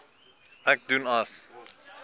ek doen as